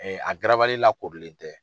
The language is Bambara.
a garabali lakolilen tɛ.